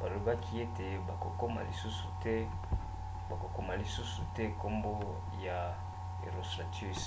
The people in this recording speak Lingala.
balobaki ete bakokoma lisusu te nkombo ya herostratus